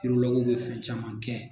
be fɛn caman kɛ